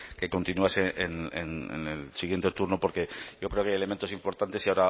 que continuase en el siguiente turno porque yo creo que hay elementos importantes y